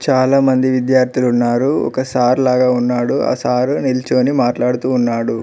చాలామంది విద్యార్థులు ఉన్నారు ఒక సార్ లాగా ఉన్నాడు ఆ సారు నిలుచుకొని మాట్లాడుతూ ఉన్నాడు.